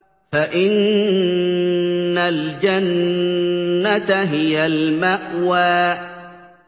فَإِنَّ الْجَنَّةَ هِيَ الْمَأْوَىٰ